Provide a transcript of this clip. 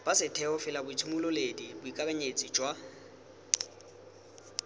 ba setheo felaboitshimololedi boikakanyetsi jwa